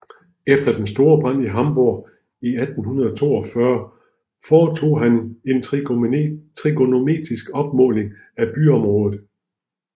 Efter den store brand i Hamborg i 1842 foretog han en trigonometrisk opmåling af byområdet